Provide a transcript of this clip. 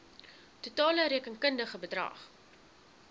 totale rekenkundige bedrag